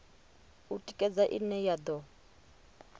u tikedza ine ya do